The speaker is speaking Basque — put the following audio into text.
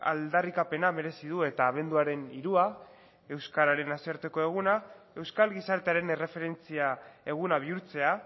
aldarrikapena merezi du eta abenduaren hirua euskararen nazioarteko eguna euskal gizartearen erreferentzia eguna bihurtzea